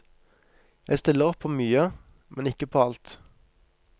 Jeg stiller opp på mye, men ikke på alt.